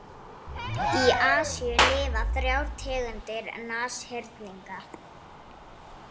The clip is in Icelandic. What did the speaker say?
Í Asíu lifa þrjár tegundir nashyrninga.